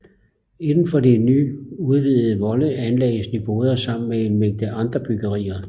Indenfor de nu udvidede volde anlagdes Nyboder sammen med en mængde andre byggerier